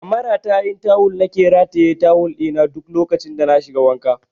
A maratayin tawul na ke rataye tawul ɗi na duk lokacin da na shiga wanka